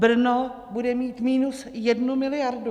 Brno bude mít minus jednu miliardu.